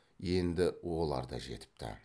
енді олар да жетіпті